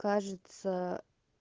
кажется